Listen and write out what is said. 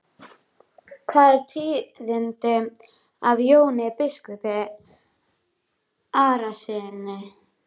Hvað er tíðinda af Jóni biskupi Arasyni?